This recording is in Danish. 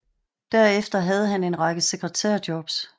Derefter havde han en række sekretær jobs